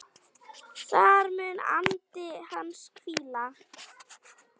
Þar mun andi hans hvíla.